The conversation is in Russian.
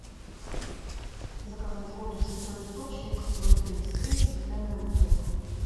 заказать воду святой источник ноль тридцать три стеклянная бутылка